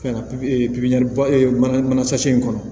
mana mana in kɔnɔ